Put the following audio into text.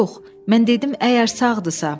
Yox, mən dedim əgər sağdırsa.